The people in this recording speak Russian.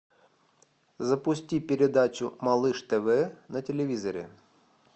запусти передачу малыш тв на телевизоре